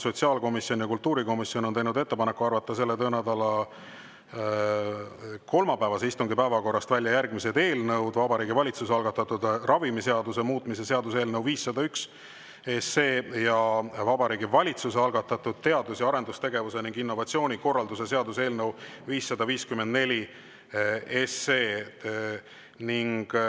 Sotsiaalkomisjon ja kultuurikomisjon on teinud ettepaneku arvata selle töönädala kolmapäevase istungi päevakorrast välja järgmised eelnõud: Vabariigi Valitsuse algatatud ravimiseaduse muutmise seaduse eelnõu 501 ning Vabariigi Valitsuse algatatud teadus‑ ja arendustegevuse ning innovatsiooni korralduse seaduse eelnõu 554.